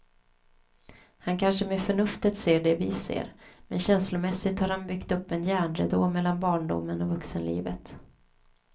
Han kanske med förnuftet ser det vi ser, men känslomässigt har han byggt upp en järnridå mellan barndomen och vuxenlivet.